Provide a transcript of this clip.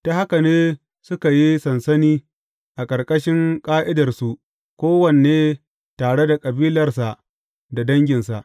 Ta haka ne suka yi sansani a ƙarƙashin ƙa’idarsu kowanne tare da kabilarsa da danginsa.